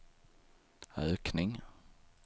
ökning